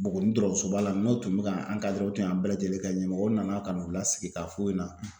Buguni dɔgɔsoba la n'o tun bɛ ka an u tun y'an bɛɛ lajɛlen kɛ ɲɛmɔgɔ nana ka n'u lasigi k'a f'u ɲɛna.